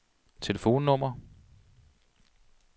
telefonnummer